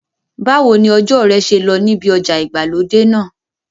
Báwo ni ọjọ́ rẹ ṣe lọ níbi ọjà ìgbàlódé náà?